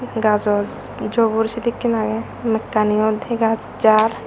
gajo jubur sedekkin agey mekkanio dega jar.